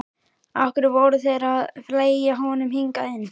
Af hverju voru þeir að fleygja honum hingað inn.